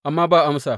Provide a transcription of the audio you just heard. Amma ba amsa.